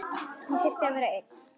Þau þurfi að vera ein.